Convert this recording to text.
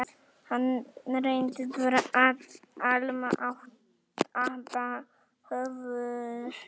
Hann reyndist vera Alma-Ata, höfuðborg